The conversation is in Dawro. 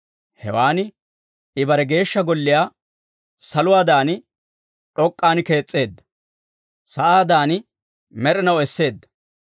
Hewan I bare Geeshsha Golliyaa saluwaadan d'ok'k'an kees's'eedda; sa'aadan med'inaw esseedda.